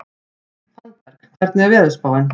Fannberg, hvernig er veðurspáin?